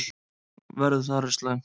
Veður þar er slæmt.